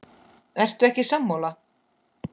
Ertu ekki sammála?